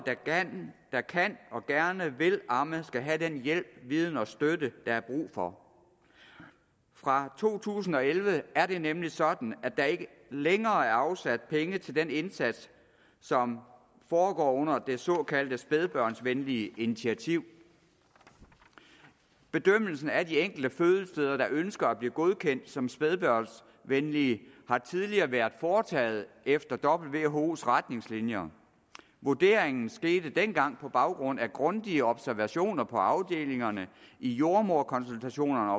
der kan og gerne vil amme skal have den hjælp viden og støtte er brug for fra to tusind og elleve er det nemlig sådan at der ikke længere er afsat penge til den indsats som foregår under det såkaldte spædbørnsvenlige initiativ bedømmelsen af de enkelte fødesteder der ønsker at blive godkendt som spædbørnsvenlige har tidligere været foretaget efter who’s retningslinjer vurderingen skete dengang på baggrund af grundige observationer på afdelingerne i jordemoderkonsultationerne